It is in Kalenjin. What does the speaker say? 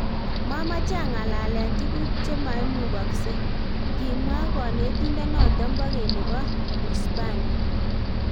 "Momoche ang'alalen tuguk che moimugokse." kimwa konetindonoton bo keny nebo Uispania